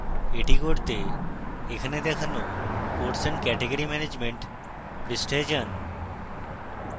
এটি করতে এখানে দেখানো course and category management পৃষ্ঠায় যান